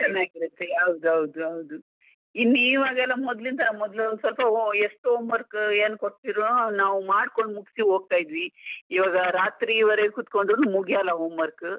ಚೆನ್ನಾಗಿರುತ್ತೆ ಹೌದು ಹೌದು ಹೌದು, ಇನ್ನು ಇವಾಗೆಲ್ಲ ಮೊದ್ಲಿನ್ ತರ ಮೊದ್ಲು ಸ್ವಲ್ಪ ಎಷ್ಟು homework ಏನ್ ಕೊಡ್ತಿರೋ ನಾವ್ ಮಾಡ್ಕೊಂಡು ಮುಗ್ಸಿ ಹೋಗ್ತಾ ಇದ್ವಿ, ಇವಾಗ ರಾತ್ರಿ ವರೆಗ್ ಕುತ್ಕೊಂಡ್ರು ಮುಗಿಯಲ್ಲ homework .